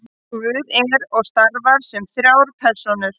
guð er og starfar sem þrjár persónur